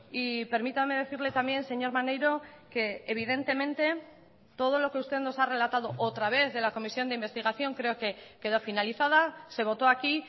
y permítame decirle también señor maneiro que evidentemente todo lo que usted nos ha relatado otra vez de la comisión de investigación creo que quedó finalizada se votó aquí